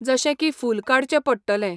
जशें की फूल काडचें पडटलें.